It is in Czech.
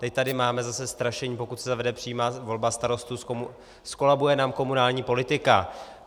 Teď tady máme zase strašení, pokud se zavede přímá volba starostů, zkolabuje nám komunální politika.